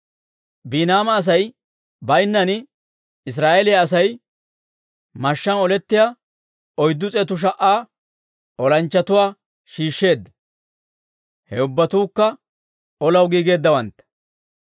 Biiniyaama Asay baynnaan, Israa'eeliyaa Asay mashshaan olettiyaa oyddu s'eetu sha"a olanchchatuwaa shiishsheedda; he ubbatuukka olaw giigeeddawantta.